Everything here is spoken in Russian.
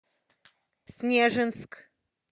снежинск